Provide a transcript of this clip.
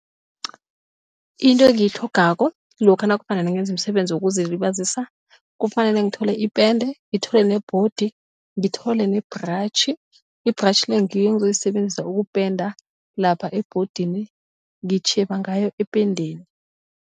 Into engiyitlhogako lokha nakufanele ngenze umsebenzi wokuzilibazisa kufanele ngithole ipende ngithole nebhodi ngithole ne-brush. I-brush le ngiyo engizoyisebenzisa ukupenda lapha ebhodini ngitjheba ngayo ependeni.